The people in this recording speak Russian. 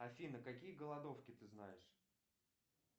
афина какие голодовки ты знаешь